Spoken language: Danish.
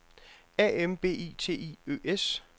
A M B I T I Ø S